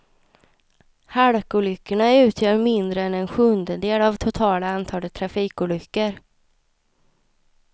Halkolyckorna utgör mindre än en sjundedel av totala antalet trafikolyckor.